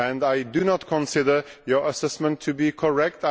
I do not consider your assessment to be correct.